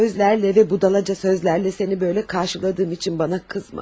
Yaşlı gözlərlə və budalaca sözlərlə səni belə qarşıladığım üçün mənə qızma.